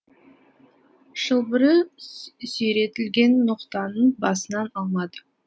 шылбыры сүйретілген ноқтаны басынан алмады